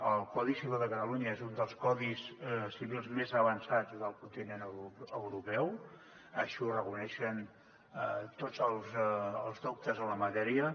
el codi civil de catalunya és un dels codis civils més avançats del continent europeu així ho reconeixen tots els doctes en la matèria